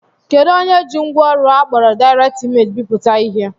Kedụ onye ji ngwaọrụ akpọrọ Direct Image bipụta ihe?